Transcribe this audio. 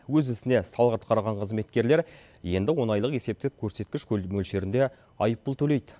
өз ісіне салғырт қараған қызметкерлер енді он айлық есептік көрсеткіш мөлшерінде айыппұл төлейді